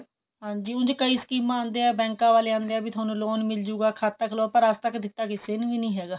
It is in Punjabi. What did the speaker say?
ਹਾਂਜੀ ਉੰਜ ਕਈ ਸਕੀਮਾ ਆਉਂਦਿਆ ਬੈੰਕਾ ਵਾਲੇ ਆਂਦੇ ਹੈ ਵੀ ਥੋਨੂੰ loan ਮਿਲ ਜੁਗਾ ਖਾਤਾ ਖੁਲਾਓ ਪਰ ਅੱਜ ਤੱਕ ਦਿਤਾ ਕਿਸੇ ਨੂੰ ਵੀ ਨਹੀਂ ਹੈਗਾ